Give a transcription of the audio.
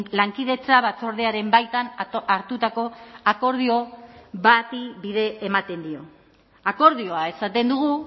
lankidetza batzordearen baitan hartutako akordio bati bide ematen dio akordioa esaten dugu